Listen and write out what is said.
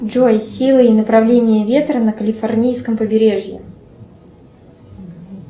джой сила и направление ветра на калифорнийском побережье